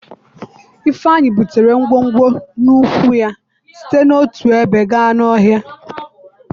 Ifeeanyi butere ngwongwo n'ụkwụ ya site n'otu ebe gaa n'ọhịa.